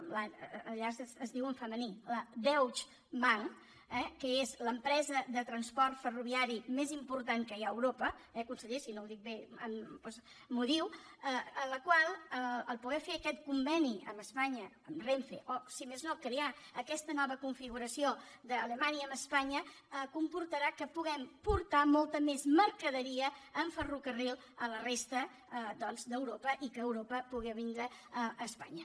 allà es diu en femení la deutsche bahn que és l’empresa de transport ferroviari més important que hi ha a europa eh conseller si no ho dic bé doncs m’ho diu la qual al poder fer aquest conveni amb espanya amb renfe o si més no crear aquesta nova configuració d’alemanya amb espanya comportarà que puguem portar molta més mercaderia amb ferrocarril a la resta d’europa i que d’europa pugui vindre a espanya